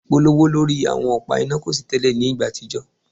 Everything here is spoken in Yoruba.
Ipolowo ipolowo lori awọn ọpa ina ko si tẹlẹ ni igba atijọ